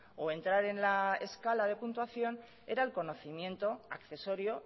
o entrar en la escala de puntuación era el conocimiento accesorio